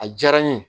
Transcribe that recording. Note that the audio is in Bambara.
A diyara n ye